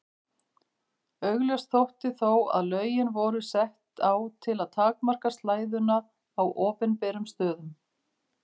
Augljóst þótti þó að lögin voru sett á til að takmarka slæðuna á opinberum stöðum.